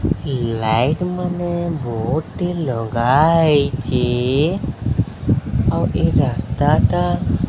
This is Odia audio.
ଲାଇଟ୍ ମାନେ ବୋର୍ଡ଼ ଟି ଲଗାହେଇଚି ଆଉ ଏ ରାସ୍ତାଟା --